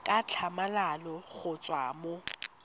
ka tlhamalalo go tswa mo